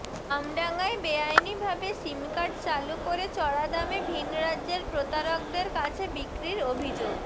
আমডাঙায় বেআইনিভাবে sim card চালু করে চড়া দামে ভিনরাজ্যের প্রতারকদের কাছে বিক্রির অভিযোগ